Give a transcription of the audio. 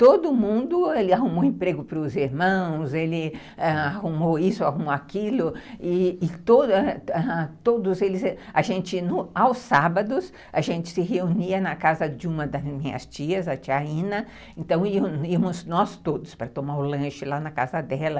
Todo mundo, ele arrumou emprego para os irmãos, ele arrumou isso, arrumou aquilo, e todos eles... A gente, aos sábados, a gente se reunia na casa de uma das minhas tias, a tia Ina, então íamos nós todos para tomar o lanche lá na casa dela.